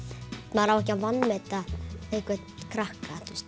maður á ekki að vanmeta einhvern krakka